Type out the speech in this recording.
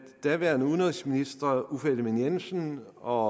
daværende udenrigsminister uffe ellemann jensen og